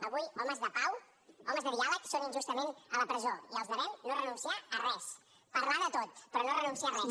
avui homes de pau homes de diàleg són injustament a la presó i els devem no renunciar a res parlar de tot però no renunciar a res